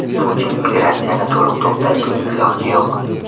Putin: Migratsiyani to‘liq to‘xtatishning iloji yo‘q.